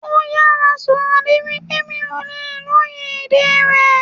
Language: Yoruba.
Ó yára sọ̀rọ̀ débi pé mi ò lè lóye èdè rẹ̀